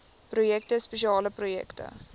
projekte spesiale projekte